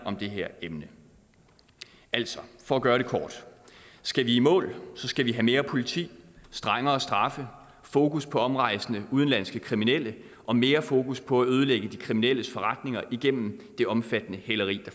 det her emne altså for at gøre det kort skal vi i mål skal vi have mere politi strengere straffe fokus på omrejsende udenlandske kriminelle og mere fokus på at ødelægge de kriminelles forretninger igennem et omfattende hæleri